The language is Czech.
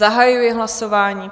Zahajuji hlasování.